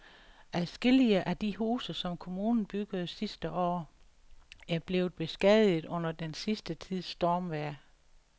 Adskillige af de huse, som kommunen byggede sidste år, er blevet beskadiget under den sidste tids stormvejr.